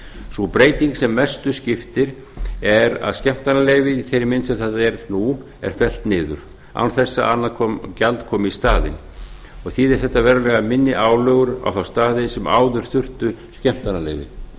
sú breyting sem mestu skiptir er að skemmtanaleyfi í þeirri mynd se það er nú er fellt niður án þess að annað gjald komi í staðinn og þýðir þetta verulega minni álögur á þá staði sem áður þurfti skemmtanaleyfi